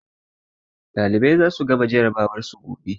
Ɗalibai za su gama jarabawar su gobe.